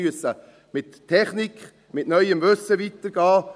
Wir müssen mit Technik, mit neuem Wissen weitergehen.